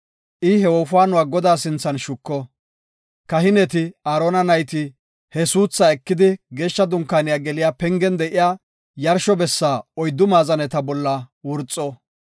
I he wofaanuwa Godaa sinthan shuko; kahineti, Aarona nayti he suuthaa ekidi, Geeshsha Dunkaane geliya pengen de7iya yarsho bessa oyddu maazaneta bolla wurxo.